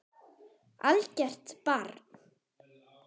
Algert barn.